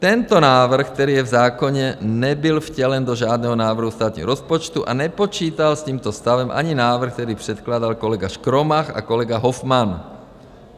Tento návrh, který je v zákoně, nebyl vtělen do žádného návrhu státního rozpočtu a nepočítal s tímto stavem ani návrh, který předkládal kolega Škromach a kolega Hofman.